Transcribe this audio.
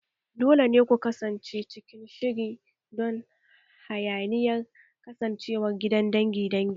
Dole ne ku kasance cikin shiri don hayaniyar kasancewar gidan dangi dangi